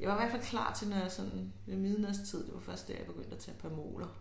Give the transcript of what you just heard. jeg var i hvert fald klar til når jeg sådan ved midnatstid det var først der jeg begyndte at tage Pamoler